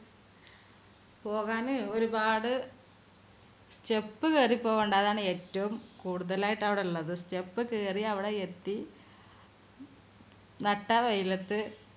പോകാന് ഒരുപാട് step കയറി പോകേണ്ടതാണ് ഏറ്റവും കൂടുതലായിട്ട് അവിടെ ഉള്ളത് step കയറി അവിടെ എത്തി നട്ട വെയിലത്ത്